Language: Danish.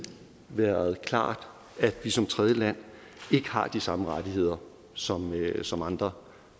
været klart at vi som tredjeland ikke har de samme rettigheder som som andre